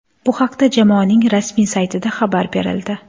Bu haqda jamoaning rasmiy saytida xabar berildi .